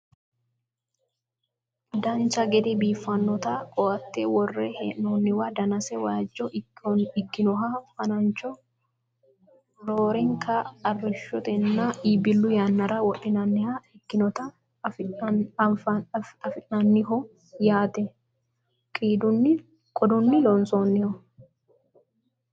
dancha gede biiffannota ko"atte worre hee'noonniwa danasi waajjo ikkinoha fanancho roorenka arrishshotenna iibbillu yannara wodhinanniha ikkinota anfanniho yaate qodunni lonsoonniho